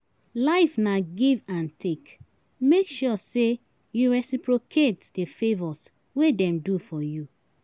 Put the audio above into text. Life na give and take make sure say you reciprocate the favours wey dem do for you